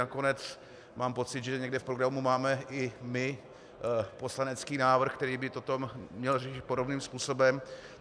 Nakonec mám pocit, že někde v programu máme i my poslanecký návrh, který by toto měl řešit podobným způsobem.